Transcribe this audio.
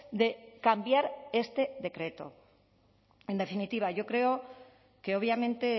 de cambiar este decreto en definitiva yo creo que obviamente